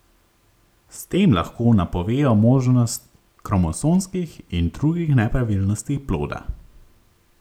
S tem lahko napovejo možnost kromosomskih in drugih nepravilnosti ploda.